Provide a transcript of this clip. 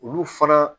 Olu fana